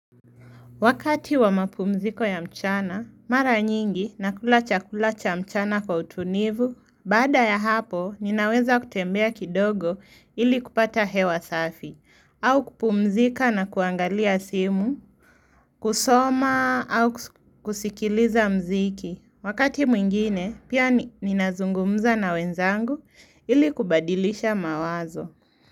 Wakati wa mapumziko ya mchana, mara nyingi nakula chakula cha mchana kwa utulivu, baada ya hapo ninaweza kutembea kidogo ili kupata hewa safi, au kupumzika na kuangalia simu, kusoma au kusikiliza mziki. Wakati mwingine, pia ninazungumza na wenzangu ili kubadilisha mawazo.